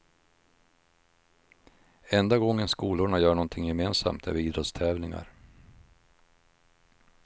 Enda gången skolorna gör någonting gemensamt är vid idrottstävlingar.